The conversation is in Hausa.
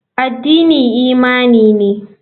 Addini imani ne.